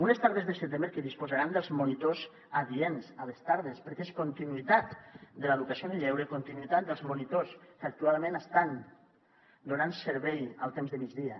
unes tardes de setembre que disposaran dels monitors adients a les tardes perquè és continuïtat de l’educació en el lleure i continuïtat dels monitors que actualment estan donant servei al temps de migdia